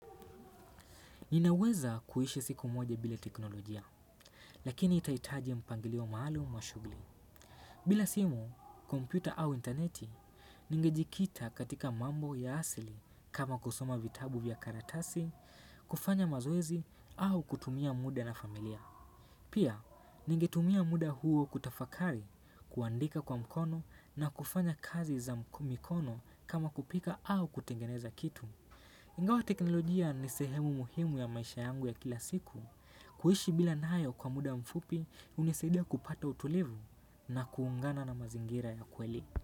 Ninaweza kuishi siku moja bila teknolojia, lakini itaitaji mpangilio maalumu wa shughuli. Bila simu, kompyuta au interneti, ningejikita katika mambo ya asili kama kusoma vitabu vya karatasi, kufanya mazoezi au kutumia muda na familia. Pia, ningetumia muda huo kutafakari, kuandika kwa mkono na kufanya kazi za mkono kama kupika au kutengeneza kitu. Ingawa teknolojia ni sehemu muhimu ya maisha yangu ya kila siku kuishi bila nayo kwa muda mfupi hunisaidia kupata utulivu na kuungana na mazingira ya kweli.